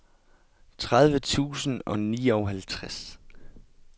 tredive tusind og nioghalvtreds